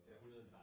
Ja